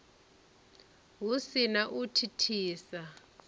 hu si na u thithisa